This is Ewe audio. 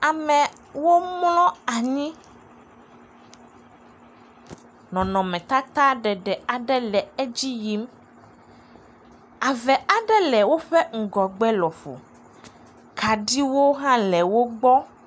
Amewo mlɔ anyi. Nɔnɔmetata ɖeɖe aɖe le edzi yim. Ave aɖe le woƒe ŋgɔgbe lɔƒo. Kaɖiwo hã le wogbɔ.